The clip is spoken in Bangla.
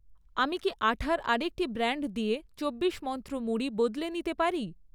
আমি কি আঠা'র আরেকটি ব্র্যান্ড দিয়ে চব্বিশ মন্ত্র মুড়ি বদলে নিতে পারি?